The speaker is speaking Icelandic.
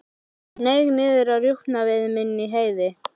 Hann hneig niður á rjúpnaveiðum inni í Heiði.